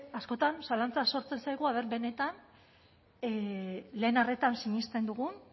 askotan zalantza sortzen zaigu aber benetan lehen arretan sinisten dugun